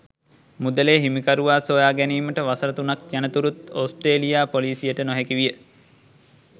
මුදලේ හිමිකරුවා සොයා ගැනීමට වසර තුනක් යනතුරුත් ඕස්ට්‍රේලියා පොලිසියට නොහැකි විය.